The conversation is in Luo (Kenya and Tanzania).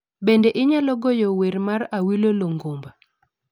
Bende inyalo goyo wer mar Awilo longomba